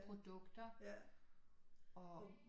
Produkter og